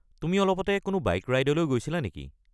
তুমি অলপতে কোনো বাইক ৰাইডলৈ গৈছিলা নেকি?